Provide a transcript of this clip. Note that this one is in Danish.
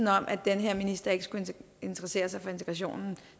at den her minister ikke skulle interessere sig for integrationen